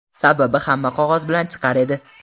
Sababi hamma qog‘oz bilan chiqar edi.